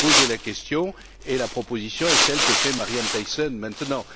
J'ai posé la question et la proposition est celle que fait Marianne Thyssen maintenant.